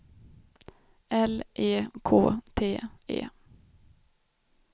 L E K T E